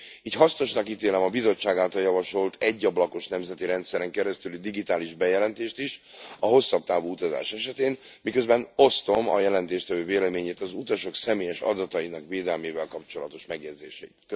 Így hasznosnak ítélem a Bizottság által javasolt, egy ablakos nemzeti rendszeren keresztüli digitális bejelentést is a hosszabb távú utazás esetén, miközben osztom a jelentéstevő véleményét az utasok személyes adatainak védelmével kapcsolatos megjegyzéseit.